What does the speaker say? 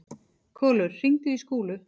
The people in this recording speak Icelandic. Kolur, hringdu í Skúlu.